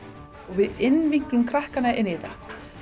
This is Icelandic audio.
við innvinklum krakkana í þetta